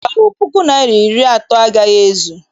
Mba, ọ puku naịra na iri atọ agaghị ezu.